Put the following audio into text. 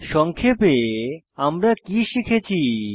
সংক্ষেপে আমরা কি শিখেছি